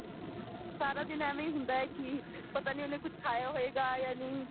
ਸਾਰਾ ਦਿਨ ਐਵੇਂ ਹੀ ਹੁੰਦਾ ਹੈ ਕੀ ਪਤਾ ਨਹੀਂ ਉਹਨੇ ਕੁੱਝ ਖਾਇਆ ਹੋਵੇਗਾ ਜਾਂ ਨਹੀਂ